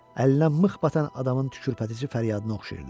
Əlinə mıx batan adamın tükürpədici fəryadına oxşayırdı.